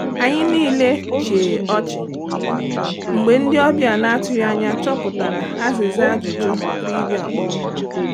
Anyị niile chee ọchị mgbe ndị ọbịa na-atụghị anya chọpụtara azịza ajụjụ trivia kpọmkwem.